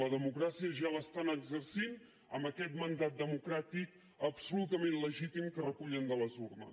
la democràcia ja l’estan exercint amb aquest mandat democràtic absolutament legítim que recullen de les urnes